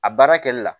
A baara kɛli la